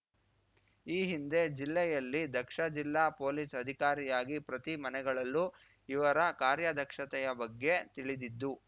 ಈ ಹಿಂದೆ ಜಿಲ್ಲೆಯಲ್ಲಿ ದಕ್ಷ ಜಿಲ್ಲಾ ಪೊಲೀಸ್‌ ಅಧಿಕಾರಿಯಾಗಿ ಪ್ರತಿ ಮನೆಗಳಲ್ಲೂ ಇವರ ಕಾರ್ಯದಕ್ಷತೆಯ ಬಗ್ಗೆ ತಿಳಿದಿದ್ದು